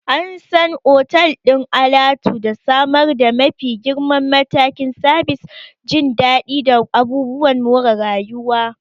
An san otal ɗin alatu da samar da mafi girman matakin sabis, jin daɗi, da abubuwan more rayuwa.